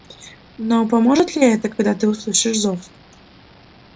но поможет ли это когда ты услышишь зов